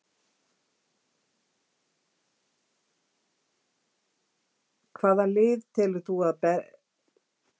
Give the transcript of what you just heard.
Hvaða lið telur þú að verði að berjast á toppnum í þriðju deildinni í sumar?